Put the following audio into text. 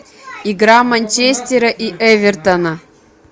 игра манчестера и эвертона